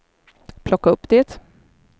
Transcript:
plocka upp det